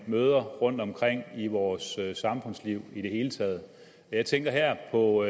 møder rundtomkring i vores samfundsliv i det hele taget jeg tænker her på